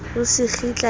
o se kgitla le ho